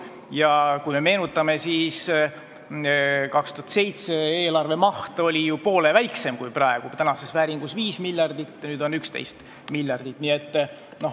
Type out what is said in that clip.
Ja meenutame, et 2007. aasta eelarve maht oli ju poole väiksem: tänases vääringus oli see 5 miljardit, nüüd on 11 miljardit.